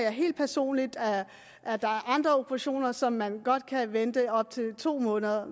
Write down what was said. helt personligt at der er andre operationer som man godt kan vente i op til to måneder